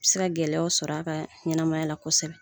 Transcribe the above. se ka gɛlɛyaw sɔrɔ a ka ɲɛnamaya la kosɛbɛ.